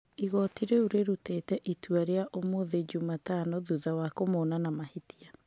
Igoti rĩu rĩrutire itua rĩu ũmũthĩ Jumatano thutha wa kũmona na mahĩtia.